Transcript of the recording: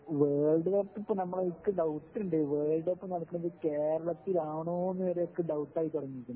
world cup ഇപ്പോ നമ്മള്ക്ക് doubt ഇണ്ട് വോൾഡ് കപ്പ് നടക്കണത് കേരളത്തിലാണോന്നു വരെ അനക്ക് ഡൌട്ട് ആയി തുടങ്ങീയ്ക്ക്ണു ഇപ്പോ